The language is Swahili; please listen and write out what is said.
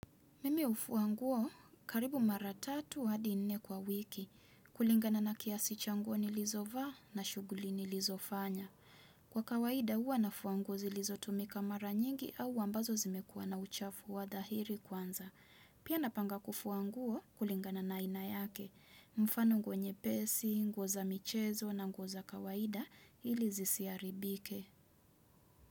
Mimi hufua nguo karibu mara tatu hadi nne kwa wiki. Kulingana na kiasi cha nguo nilizovaa na shughuli nilizofanya. Kwa kawaida juwa nafua nguo zilizotumika mara nyingi au ambazo zimekuwa na uchafu wa dhahiri kwanza. Pia napanga kufua nguo kulingana na aina yake. Mfano nguo nyepesi, nguo za michezo na nguo za kawaida ili zisiharibike.